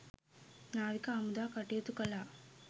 නාවික හමුදාව කටයුතු කළා